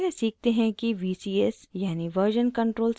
पहले सीखते हैं vcs यानि version control system क्या होता है